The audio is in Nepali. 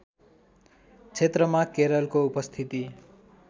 क्षेत्रमा केरलको उपस्थिति